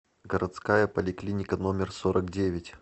городская поликлиника номер сорок девять